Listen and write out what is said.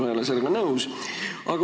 Ma ei ole sellega nõus.